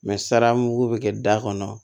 sara mugu bɛ kɛ da kɔnɔ